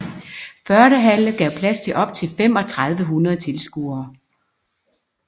Fördehalle gav plads til op til 3500 tilskuere